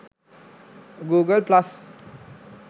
google plus